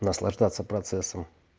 наслаждаться процессом